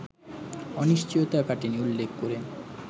অনিশ্চয়তা কাটেনি উল্লেখ করে